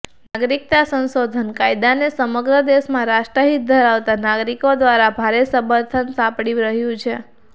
નાગરિકતા સંશોધન કાયદાનાને સમગ્ર દેશમાં રાષ્ટ્ર હિત ધરાવતા નાગરિકો દ્વારા ભારે સમર્થન સાંપડી રહ્યું છે